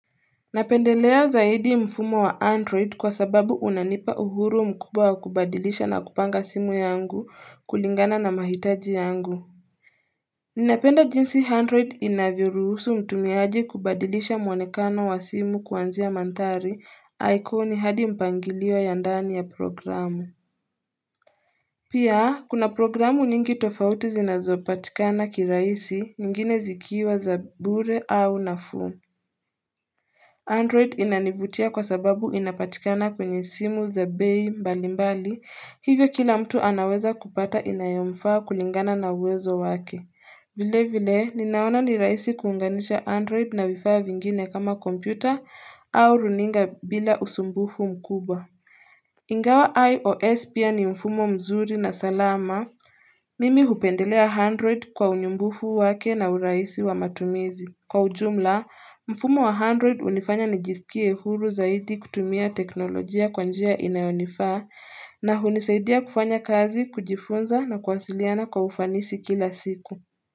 Napendelea zaidi mfumo wa android kwa sababu unanipa uhuru mkuba wa kubadilisha na kupanga simu yangu kulingana na mahitaji yangu Ninapenda jinsi handroid inavyoruhusu mtumiaji kubadilisha mwonekano wa simu kuanzia manthari aikoni hadi mpangilio ya ndani ya programu Pia kuna programu nyingi tofauti zinazopatikana kiraisi nyingine zikiwa za bure au nafuu Android inanivutia kwa sababu inapatikana kwenye simu za bei mbalimbali. Hivyo kila mtu anaweza kupata inayomfaa kulingana na uwezo wake. Vile vile, ninaona ni raisi kuunganisha Android na vifaa vya vingine kama kompyuta au runinga bila usumbufu mkubwa. Ingawa IOS pia ni mfumo mzuri na salama. Mimi hupendelea Android kwa unyumbufu wake na uraisi wa matumizi. Kwa ujumla, mfumo wa Android unifanya nijisikie huru zaidi kutumia teknolojia kwa njia inayonifaa na hunisaidia kufanya kazi, kujifunza na kuwasiliana kwa ufanisi kila siku.